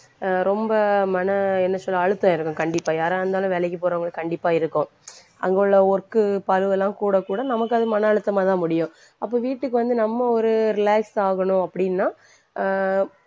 அஹ் ரொம்ப மன என்ன சொல்ல அழுத்தம் இருக்கும் கண்டிப்பா யாரா இருந்தாலும் வேலைக்கு போறவங்களுக்கு கண்டிப்பா இருக்கும். அங்குள்ள work உ பளுவெல்லாம் கூட கூட நமக்கு அது மன அழுத்தமாதான் முடியும். அப்ப வீட்டுக்கு வந்து நம்ம ஒரு relax ஆகணும் அப்படின்னா அஹ்